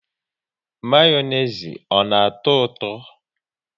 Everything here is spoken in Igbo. Mayonezi ọ na atọ ụtọ?